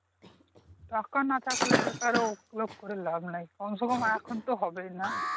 টাকা না থাকলে বেকার ও লোভ করে লাভ নাই কমছে কম এখন তো হবেই নাহ